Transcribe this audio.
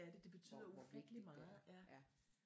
Hvor hvor vigtigt det er ja